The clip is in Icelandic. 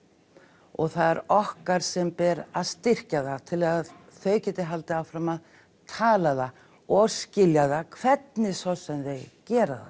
og það er okkar sem ber að styrkja það til að þau geti haldið áfram að tala það og skilja það hvernig svo sem þau gera það